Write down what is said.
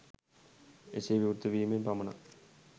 එසේ විවෘත වීමෙන් පමණක්